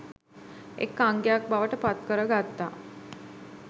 එක් අංගයක් බවට පත්කර ගත්තා.